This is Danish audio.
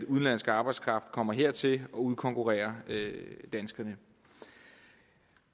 udenlandsk arbejdskraft kommer hertil og udkonkurrerer danskerne